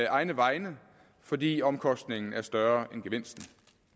egne vegne fordi omkostningen er større end gevinsten